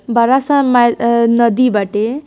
बड़ा सा मई अ नदी बटे |